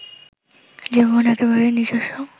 যে ভুবন একেবারেই নিজস্ব